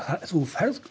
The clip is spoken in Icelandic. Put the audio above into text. þú ferð